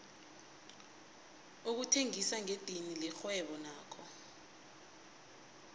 ukuthengisa ngedidini lirhwebo nakho